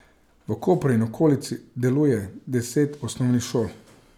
V Kopru in okolici deluje deset osnovnih šol.